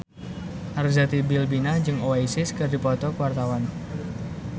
Arzetti Bilbina jeung Oasis keur dipoto ku wartawan